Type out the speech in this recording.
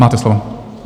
Máte slovo.